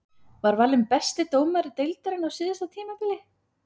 Var valinn besti dómari deildarinnar á síðasta tímabili.